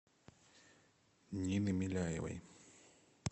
нины миляевой